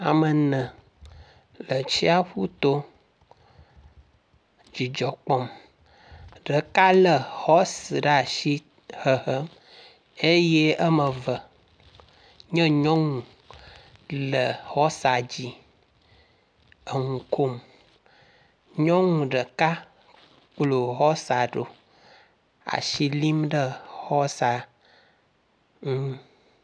Ame ene le tsiaƒu to dzidzɔ kpɔm. Ɖeka le hɔsi ɖe asi hehem eye eme eve nye nyɔnu le hɔsa dzi eŋu kom. Nyɔnu ɖeka kplo hɔsa ɖo asi lim ɖe hɔsa ŋu.